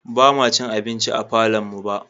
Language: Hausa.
Ba ma cin abinci a falonmu ba.